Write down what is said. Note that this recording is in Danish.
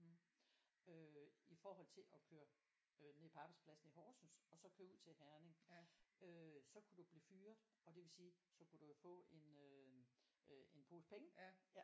Øh i forhold til at køre øh ned på arbejdspladsen i Horsen og så køre ud til Herning øh så kunne du blive fyret og det vil sige så kunne du jo få øh øh en pose penge